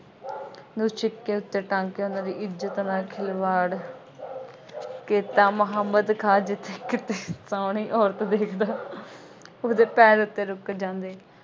ਨੂੰ ਛਿੱਕੇ ਉੱਤੇ ਟੰਗ ਕੇ ਉਹਨਾ ਦੀ ਇੱਜ਼ਤ ਨਾਲ ਖਿਲਵਾੜ ਕੀਤਾ। ਮੁਹੰਮਦ ਖਾਂ ਜਿੱਥੇ ਕਿਤੇ ਸੋਹਣੀ ਔਰਤ ਦੇਖਦਾ ਉਸਦੇ ਪੈਰ ਉੱਥੇ ਰੁੱਕ ਜਾਂਦੇ।